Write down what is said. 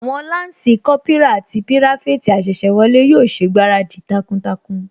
Àwọn Lansi Kópírà àti pirafeti asese wọlé yóò ṣègbáradì takuntakun